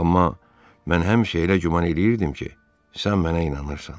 Amma mən həmişə elə güman eləyirdim ki, sən mənə inanırsan.